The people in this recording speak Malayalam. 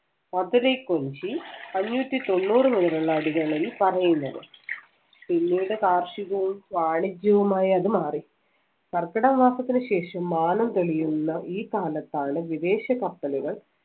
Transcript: മധുരൈ കുറിശ്ശി അഞ്ഞൂറ്റി തൊണ്ണൂറുമുതലുള്ള അടികളില്‍ പറയുന്നത്. പിന്നീട് കാർഷികവും വാണിജ്യവുമായി അത് മാറി. കർക്കിടക മാസത്തിന് ശേഷം മാനം തെളിയുന്ന ഈ കാലത്താണ് വിദേശ കപ്പലുകൾ